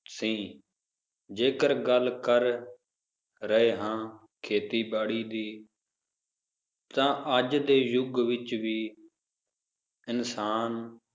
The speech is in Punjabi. ਸੀ l ਜੇਕਰ ਗੱਲ ਕਰ ਰਹੇ ਹੈ ਖੇਤੀਬਾੜੀ ਦੀ ਤਾਂ ਅੱਜ ਦੇ ਯੁਗ ਵਿਚ ਵੀ ਇਨਸਾਨ,